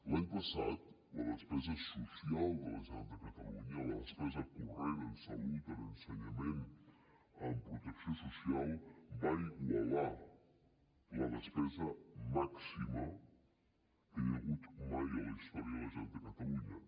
l’any passat la despesa social de la generalitat de catalunya la despesa corrent en salut en ensenyament en protecció social va igualar la despesa màxima que hi ha hagut mai a la generalitat de catalunya